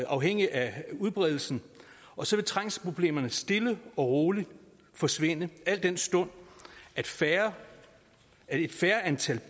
afhængigt af udbredelsen og så vil trængselsproblemerne stille og roligt forsvinde al den stund at færre